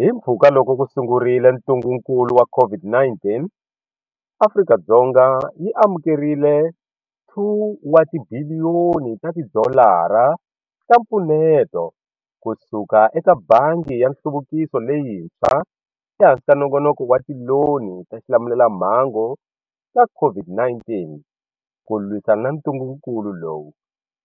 Himpfhuka loko ku sungurile ntungukulu wa COVID-19, Afrika-Dzonga yi amukerile 2 ta tibiliyoni ta tidolara ta mpfuneto kusuka eka Bangi ya Nhluvukiso Leyintshwa ehansi ka Nongonoko wa Tiloni ta Xilamulelamhangu ta COVID-19 ku lwisana na ntungukulu lowu